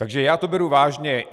Takže já to beru vážně.